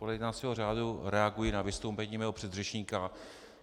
Podle jednacího řádu reaguji na vystoupení mého předřečníka.